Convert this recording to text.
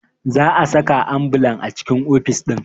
Za a saka ambulan a cikin ofis ɗin